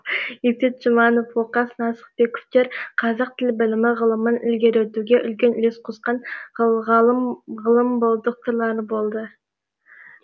есет жұбанов оқас нақысбековтер қазақ тіл білімі ғылымын ілгерілетуге үлкен үлес қосқан ғылым докторлары болды